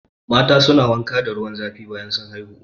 Mata su na wanka da ruwan zafi bayan sun haihu